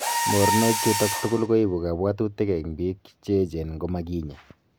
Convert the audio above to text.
Mornok chutok tugul koibu kabwatutik eng biik cheechen ngomakinya